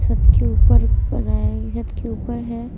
छत के ऊपर छत के ऊपर है।